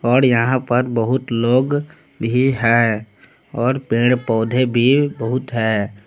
और यहां पर बहुत लोग भी है और पेड़ पौधे भी बहुत है।